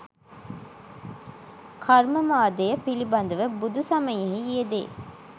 කර්මවාදය පිළිබඳව බුදුසමයෙහි යෙදේ